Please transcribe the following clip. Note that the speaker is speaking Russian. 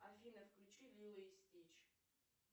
афина включи лило и стич